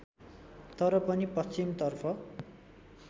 तर पनि पश्चिमतर्फ